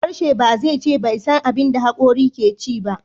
Harshe ba zai iya ce bai san abin da hakorin ke ci ba.